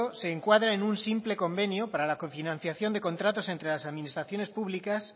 se encuadra en un simple convenio para la cofinanciación de contratos entre las administraciones públicas